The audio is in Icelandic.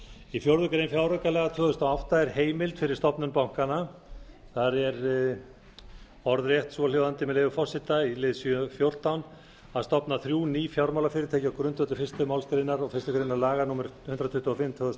í fjórða grein fjáraukalaga tvö þúsund og átta er heimild fyrir stofnun bankanna og er orðrétt svohljóðandi með leyfi forseta í lið sjö fjórtán að stofna þrjú ný fjármálafyrirtæki á grundvelli fyrstu málsgrein fyrstu grein laga númer hundrað tuttugu og fimm tvö þúsund og